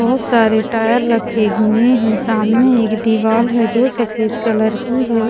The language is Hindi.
बहुत सारे टायर रखे हुए हैं सामने एक दीवाल है जो सफेद कलर की है।